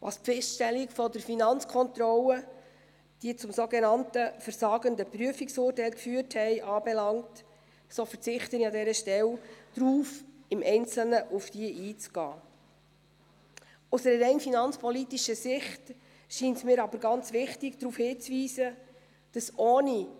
Was die Feststellungen der FK, die zum sogenannten «versagenden» Prüfungsurteil geführt haben, anbelangt, so verzichte ich an